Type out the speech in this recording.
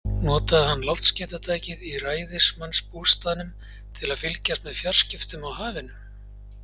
Notaði hann loftskeytatækið í ræðismannsbústaðnum til að fylgjast með fjarskiptum á hafinu?